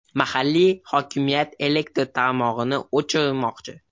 Mahalliy hokimiyat elektr tarmog‘ini o‘chirmoqchi.